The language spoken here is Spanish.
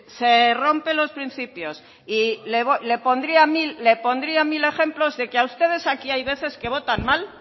se rompen los principios le pondría mil ejemplos de que a ustedes aquí hay veces que votan mal